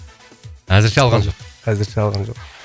әзірше алған жоқ әзірше алған жоқ